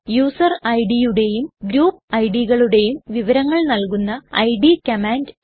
user idയുടെയും group idകളുടെയും വിവരങ്ങൾ നല്കുന്ന ഇഡ് കമാൻഡ്